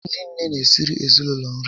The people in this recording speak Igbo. Ndị nné n'esiri ezinaụlọ nri